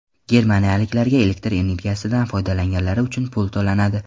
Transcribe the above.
Germaniyaliklarga elektr energiyasidan foydalanganlari uchun pul to‘lanadi.